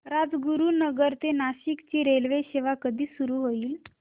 राजगुरूनगर ते नाशिक ची रेल्वेसेवा कधी सुरू होईल